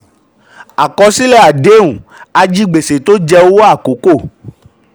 àkọsílẹ̀ àdéhùn ajigbèsè tó jẹ́ owó àkókò.